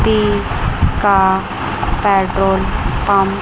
P का petrol pump --